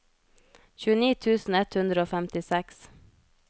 tjueni tusen ett hundre og femtiseks